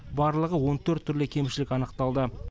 барлығы он төрт түрлі кемшілік анықталды